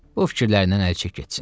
Bu fikirlərindən əl çək getsin.